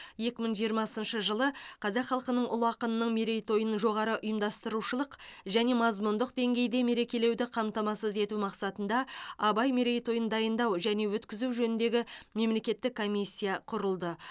екі мың жиырмасыншы жылы қазақ халқының ұлы ақынының мерейтойын жоғары ұйымдастырушылық және мазмұндық деңгейде мерекелеуді қамтамасыз ету мақсатында абай мерейтойын дайындау және өткізу жөніндегі мемлекеттік комиссия құрылды